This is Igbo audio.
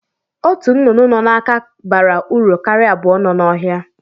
Ọtu nnụnụ nọ n'aka bara uru karịa abụọ nọ n'ohia.